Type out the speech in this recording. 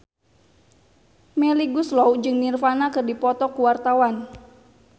Melly Goeslaw jeung Nirvana keur dipoto ku wartawan